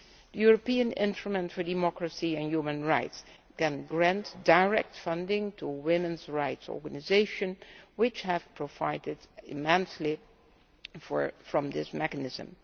European instruments for democracy and human rights can grant direct funding to women's rights organisations, which have benefitted immensely from this mechanism.